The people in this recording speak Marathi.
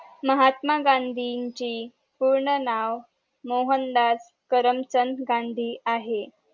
महात्मा गांधींची पूर्ण नाव मोहनदास करमचंद गांधी आहे